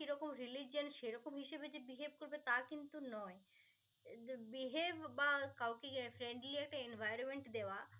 কি রকম religion সে রকম হিসেবে যে behave করবে তা কিন্তু নয় আহ behave বা কাউকে ইয়ে friendly একটা environment দেওয়া